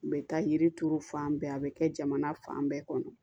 U bɛ taa yiri turu fan bɛɛ a bɛ kɛ jamana fan bɛɛ kɔnɔ